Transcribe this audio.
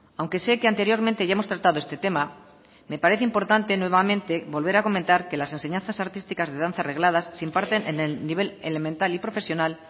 aunque sé que anteriormente ya hemos tratado este tema me parece importante nuevamente volver a comentar que las enseñanzas artísticas de danzas regladas se imparten en el nivel elemental y profesional